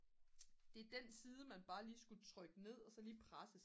det er den side man bare lige skulle trykke ned og så bare lige presse